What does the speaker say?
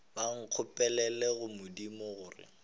ba nkgopelele go modimo gore